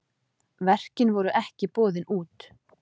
Verkin voru ekki boðin út.